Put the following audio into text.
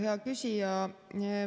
Hea küsija!